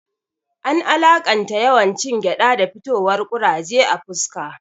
An alaƙanta yawan cin gyaɗa da fitowar kuraje a fuska